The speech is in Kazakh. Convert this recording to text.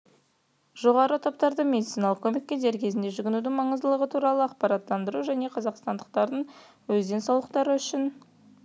жоғары топтарды медициналық көмекке дер кезінде жүгінудің маңыздылығы туралы ақпараттандыру және қазақстандықтардың өз денсаулықтары үшін